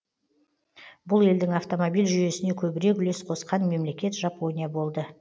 бұл елдің автомобиль жүйесіне көбірек үлес қосқан мемлекет жапония болды